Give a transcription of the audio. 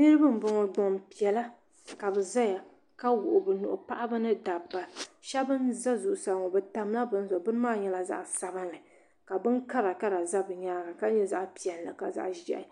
Niriba m boŋɔ gbampiɛla ka bɛ zaya ka wuɣi bɛ nuhi paɣaba ni dabba sheba n za zuɣusaa ŋɔ bɛ tamla bini zuɣu di nyɛla zaɣa sabinli ka bin karakara za bɛ nyaanga ka nyɛ zaɣa piɛla ka zaɣa ʒehi